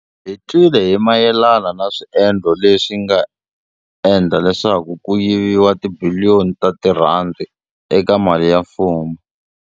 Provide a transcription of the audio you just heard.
Hi twile hi mayelana na swiendlo leswi nga endla leswaku ku yiviwa ka tibiliyoni ta tirhandi eka mali ya mfumo.